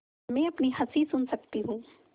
मैं अपनी हँसी सुन सकती हूँ